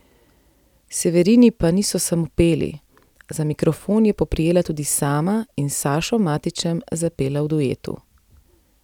Severini pa niso samo peli, za mikrofon je poprijela tudi sama in s Sašom Matićem zapela v duetu.